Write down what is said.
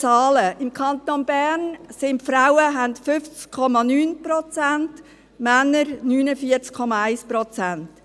Im Kanton Bern hat es 50,9 Prozent Frauen, und Männer hat es 49,1 Prozent.